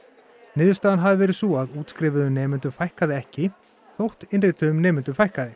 niðurstaðan hafi verið sú að útskrifuðum nemendum fækkaði ekki þótt innrituðum nemendum fækkaði